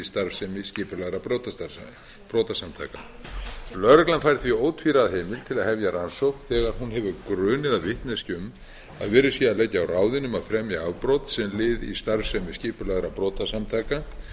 starfsemi skipulagðra brotasamtaka lögreglan fær því ótvíræða heimild til að hefja rannsókn þegar hún hefur grun eða vitneskju um að verið sé að leggja á ráðin um að fremja afbrot sem lið í starfsemi skipulagðra brotasamtaka þó